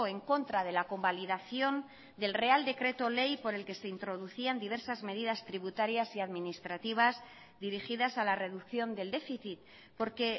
en contra de la convalidación del real decreto ley por el que se introducían diversas medidas tributarias y administrativas dirigidas a la reducción del déficit porque